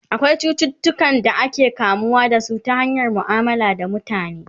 akwai cututuka da ake kamuwa da su ta hanyar muamala da mutane